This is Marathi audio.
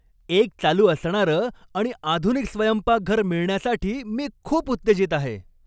एक चालू असणारं आणि आधुनिक स्वयंपाकघर मिळण्यासाठी मी खूप उत्तेजित आहे.